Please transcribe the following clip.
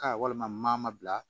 Aa walima maa ma bila